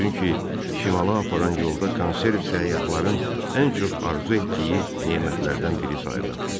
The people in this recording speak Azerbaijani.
Çünki şimala aparan yolda konserv səyyahların ən çox arzu etdiyi nemətlərdən biri sayılırdı.